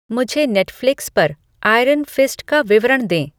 मुझे नेटफ़्लिक्स पर Iron Fist का विवरण दें